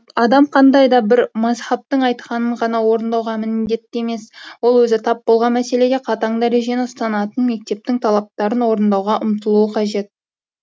адам қандай да бір мазһабтың айтқанын ғана орындауға міндетті емес ол өзі тап болған мәселеде қатаң дәрежені ұстанатын мектептің талаптарын орындауға ұмтылуы қажет